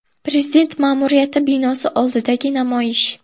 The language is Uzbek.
Prezident ma’muriyati binosi oldidagi namoyish.